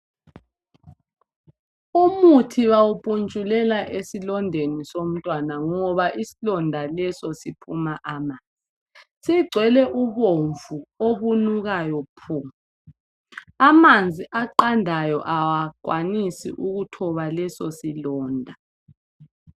umuthibawupuntshulela esilondeni ngoba isilonda leso siphuma amanzi sigcwele ubomvu obunukayo phu amanzi aqandayo awakwanisi ukuthoba leso silonda